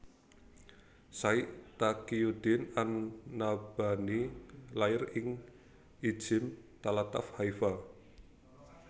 Syaikh Taqiyuddin an Nabhani lair ing Ijzim tlatah Haifa